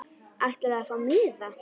Ætlarðu að fá miða?